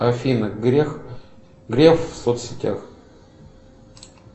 афина грех грев в соцсетях